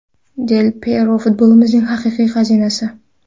Del Pyero –futbolimizning haqiqiy xazinasi.